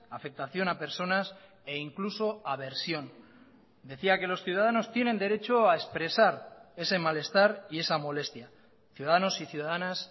afectación a personas e incluso aversión decía que los ciudadanos tienen derecho a expresar ese malestar y esa molestia ciudadanos y ciudadanas